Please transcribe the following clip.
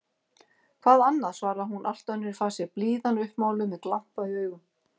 Hvað annað? svaraði hún allt önnur í fasi, blíðan uppmáluð, með glampa í augum.